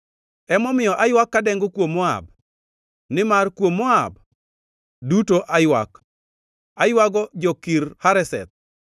Emomiyo aywak kadengo kuom Moab, nimar kuom Moab duto aywak, aywago jo-Kir Hareseth.